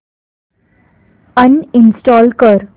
uninstall कर